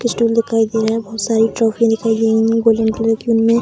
Stool दिखाई दे रहा है बोहोत सारी ट्रॉफी दिखाई दे है गोल्डन कलर की उनमें।